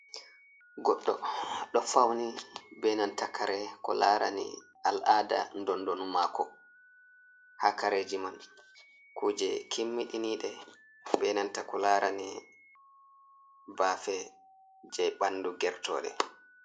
Goɗɗo ɗo fauni be nan ta kare ko larani al'ada dondonu mako, ha kareji man kuje kimmiɗiniɗe benanta ko larani bafe je bandu ger tode.